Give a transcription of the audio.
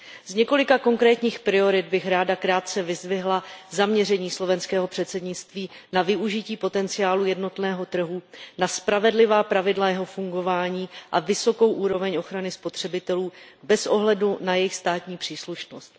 Z několika konkrétních priorit bych ráda krátce vyzdvihla zaměření slovenského předsednictví na využití potenciálu jednotného trhu, na spravedlivá pravidla jeho fungování a vysokou úroveň ochrany spotřebitelů bez ohledu na jejich státní příslušnost.